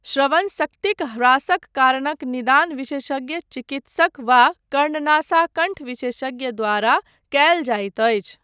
श्रवण शक्तिक ह्रासक कारणक निदान विशेषज्ञ चिकित्सक वा कर्णनासाकण्ठ विशेषज्ञ द्वारा कयल जाइत अछि।